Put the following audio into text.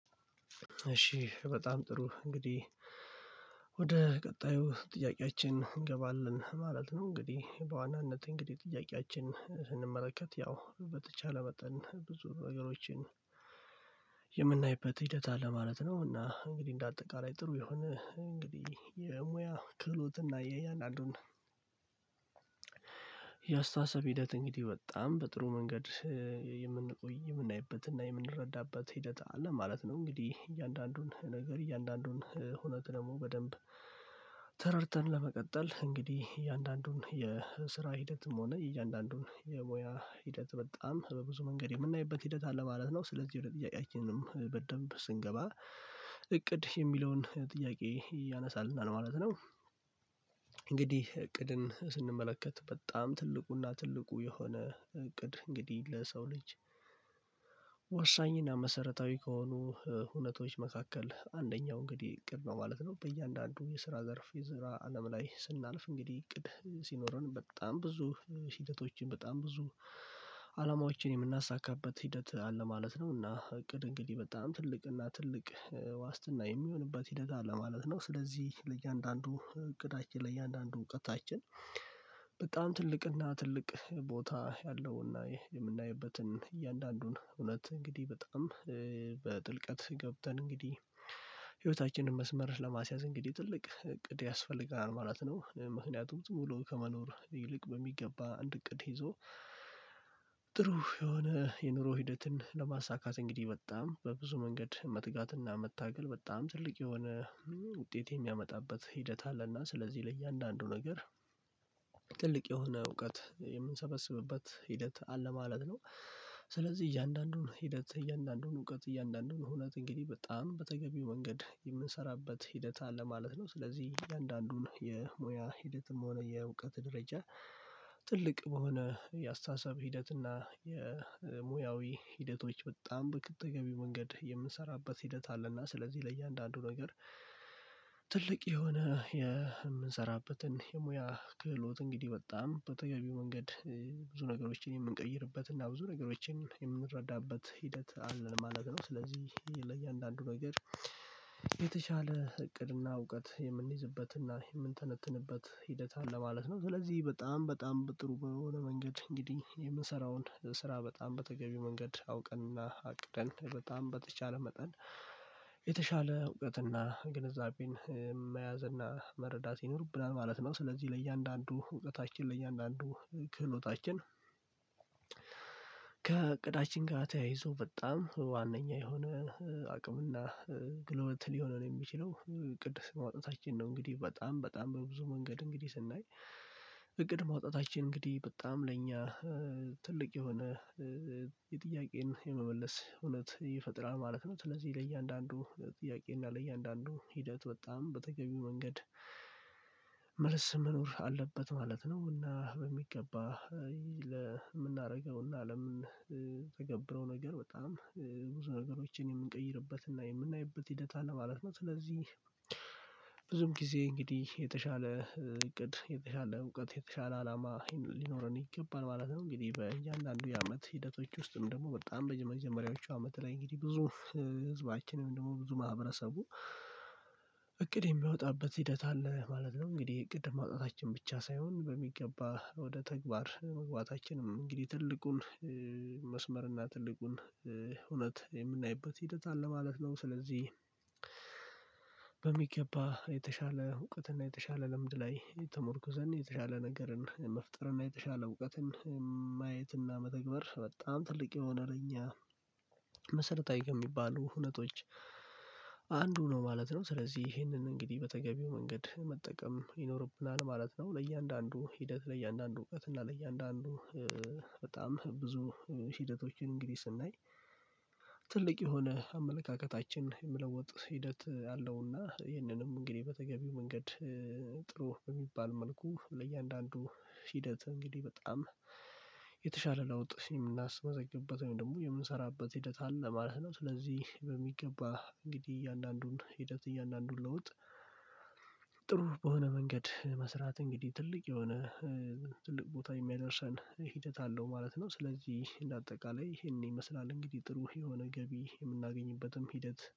እሺ በጣም ጥሩ እንግዲህ ወደ ቀጣዩ ጥያቄያችን እንገባለን ማለት ነው። እንግዲህ በዋናነት እንግዲህ ጥያቄያችን ስንመለከት ያው በተቻለ መጠን ብዙ ነገሮችን የምናይበት ሂደት አለ ማለት ነው። እና እንግዲህ እንደ አጠቃላይ ጥሩ የሆነ እንግዲህ የሙያ ክህሎትና የእያንዳንዱን የአስተሳሰብ ሂደት እንግዲህ በጣም በጥሩ መንገድ የምንቆይ የምናይበትና የምንረዳበት ሂደት አለ ማለት ነው። እንግዲህ እያንዳንዱን ነገር እያንዳንዱን ሁነት ደግሞ በደንብ ተረድተን ለመቀጠል እንግዲህ እያንዳንዱን የስራ ሂደትም ሆነ እያንዳንዱን የሙያ ሂደት በጣም በብዙ መንገድ የምናይበት ሂደት አለ ማለት ነው። ስለዚህ ወደ ጥያቄያችንም በደንብ ስንገባ እቅድ የሚለውን ጥያቄ ያነሳልና ለማለት ነው። እንግዲህ እቅድን ስንመለከት በጣም ትልቁና ትልቁ የሆነ እቅድ እንግዲህ ለሰው ልጅ ወሳኝና መሰረታዊ ከሆኑ ሁነቶች መካከል አንደኛው እንግዲህ እቅድ ነው ማለት ነው። በእያንዳንዱ የስራ ዘርፍ የስራ አለም ላይ ስናልፍ እንግዲህ እቅድ ሲኖረን በጣም ብዙ ሂደቶችን በጣም ብዙ አላማዎችን የምናሳካበት ሂደት አለ ማለት ነው። እና እቅድ እንግዲህ በጣም ትልቅ እና ትልቅ ዋስትና የሚሆንበት ሂደት አለ ማለት ነው። ስለዚህ ለእያንዳንዱ እቅዳችን ለእያንዳንዱ እውቀታችን በጣም ትልቅ እና ትልቅ ቦታ ያለውና የምናይበትን እያንዳንዱን እውነት እንግዲህ በጣም በጥልቀት ገብተን እንግዲህ ህይወታችንን መስመር ለማስያዝ እንግዲህ ትልቅ እቅድ ያስፈልጋል ማለት ነው። ምክንያቱም ዝም ብሎ ከመኖር ይልቅ በሚገባ አንድ እቅድ ይዞ ጥሩ የሆነ የኑሮ ሂደትን ለማሳካት እንግዲህ በጣም በብዙ መንገድ መትጋትና መታገል በጣም ትልቅ የሆነ ውጤት የሚያመጣበት ሂደት አለና ስለዚህ ለእያንዳንዱ ነገር ትልቅ የሆነ እውቀት የምንሰበስብበት ሂደት አለ ማለት ነው። ስለዚህ እያንዳንዱን ሂደት እያንዳንዱን እውቀት እያንዳንዱን ሁነት እንግዲህ በጣም በተገቢው መንገድ የምንሰራበት ሂደት አለ ማለት ነው። ስለዚህ እያንዳንዱን የሙያ ሂደትም ሆነ የእውቀት ደረጃ ትልቅ በሆነ የአስተሳሰብ ሂደት እና የሙያዊ ሂደቶች በጣም በቅጥ ተገቢው መንገድ የምንሰራበት ሂደት አለና ስለዚህ ለእያንዳንዱ ነገር ትልቅ የሆነ የምንሰራበትን የሙያ ክህሎት እንግዲህ በጣም በተገቢው መንገድ ብዙ ነገሮችን የምንቀይርበት እና ብዙ ነገሮችን የምንረዳበት ሂደት አለ ለማለት ነው። ስለዚህ ለእያንዳንዱ ነገር የተሻለ እቅድና እውቀት የምንይዝበትና የምንተነትንበት ሂደት አለ ማለት ነው። ስለዚህ በጣም በጣም በጥሩ በሆነ መንገድ እንግዲህ የምሰራውን ስራ በጣም በተገቢው መንገድ አውቀንና አቅደን በጣም በተቻለ መጠን የተሻለ እውቀትና ግንዛቤን መያዝ እና መረዳት ይኖርብናል ማለት ነው። ስለዚህ ለእያንዳንዱ እውቀታችን ለእያንዳንዱ ክህሎታችን ከእቅዳችን ጋር ተያይዞ በጣም ዋናኛ የሆነ አቅምና ክህሎት ሊሆነን የሚችለው እቅድ ማውጣታችን ነው። እንግዲህ በጣም በጣም በብዙ መንገድ እንግዲህ ስናይ እቅድ ማውጣታችን እንግዲህ በጣም ለእኛ ትልቅ የሆነ የጥያቄን የመመለስ እውነት ይፈጥራል ማለት ነው። ስለዚህ ለእያንዳንዱ ለጥያቄ እና ለእያንዳንዱ ሂደት በጣም በተገቢው መንገድ መልስ መኖር አለበት ማለት ነው። እና በሚገባ ለምናደርገው ለምንተገብረው ነገር በጣም ብዙ ነገሮችን የምንቀይርበትና የምናይበት ሂደት አለ ማለት ነው። ስለዚህ ብዙም ጊዜ እንግዲህ የተሻለ እቅድ የተሻለ እውቀት የተሻለ አላማ ሊኖረን ይገባል ማለት ነው። እንግዲህ በእያንዳንዱ የአመት ሂደቶች ውስጥም ደግሞ በጣም መጀመሪያዎቹ አመት ላይ እንግዲህ ብዙ ህዝባችን ደግሞ ብዙ ማህበረሰቡ እቅድ የሚያወጣበት ሂደት አለ ማለት ነው። እንግዲህ እቅድ ማውጣታችን ብቻ ሳይሆን በሚገባ ወደ ተግባር መግባታችንም እንግዲህ ትልቁን መስመርና ትልቁን ሁነት የምናይበት ሂደት አለ ማለት ነው። ስለዚህ በሚገባ የተሻለ እውቀትና የተሻለ ልምድ ላይ ተሞርኩዘን የተሻለ ነገርን መፍጠርንና የተሻለ እውቀትን ማየትና መተግበር በጣም ትልቅ የሆነ ለእኛ መሰረታዊ ከሚባሉ ሁነቶች አንዱ ነው ማለት ነው። ስለዚህ ይህንን እንግዲህ በተገቢው መንገድ መጠቀም ይኖርብናል ማለት ነው። ለእያንዳንዱ ሂደት ለእያንዳንዱ እውቀት እና ለእያንዳንዱ በጣም ብዙ ሂደቶችን እንግዲህ ስናይ ትልቅ የሆነ አመለካከታችን የመለወጥ ሂደት አለውና ይህንንም እንግዲህ በተገቢው መንገድ ጥሩ በሚባል መልኩ ለእያንዳንዱ ሂደት እንግዲህ በጣም የተሻለ ለውጥ የምናስመዘግብበት ወይም ደግሞ የምንሰራበት ሂደት አለ ማለት ነው። ስለዚህ በሚገባ እንግዲህ እያንዳንዱን ሂደት እያንዳንዱን ለውጥ ጥሩ በሆነ መንገድ መስራት እንግዲህ ትልቅ የሆነ ትልቅ ቦታ የሚያደርሰን ሂደት አለው ማለት ነው። ስለዚህ እንደ አጠቃላይ ይሄንን ይመስላል እንግዲህ ጥሩ የሆነ ገቢ የምናገኝበትም ሂደት